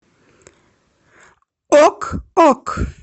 ок ок